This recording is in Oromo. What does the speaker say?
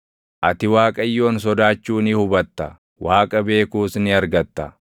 ati Waaqayyoon sodaachuu ni hubatta; Waaqa beekuus ni argatta.